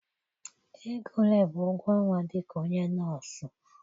Ego ole bụ ụgwọ ọnwa dịka onye nọọsụ.